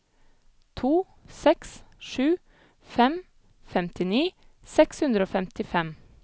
to seks sju fem femtini seks hundre og femtifem